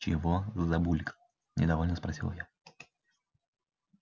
чего забулькал недовольно спросила я